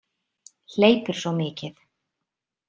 Hleypur svo mikið.